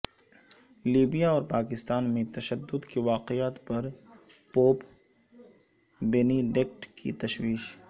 Libya اورپاکستان میں تشدد کے واقعات پر پوپ بینیڈکٹ کی تشویش